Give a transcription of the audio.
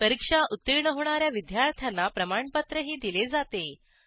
परीक्षा उत्तीर्ण होणा या विद्यार्थ्यांना प्रमाणपत्रही दिले जाते